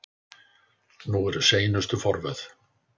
Nú eru seinustu forvöð.